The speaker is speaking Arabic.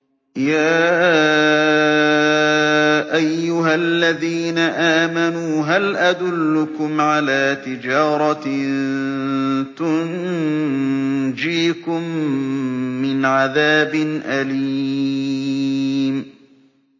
يَا أَيُّهَا الَّذِينَ آمَنُوا هَلْ أَدُلُّكُمْ عَلَىٰ تِجَارَةٍ تُنجِيكُم مِّنْ عَذَابٍ أَلِيمٍ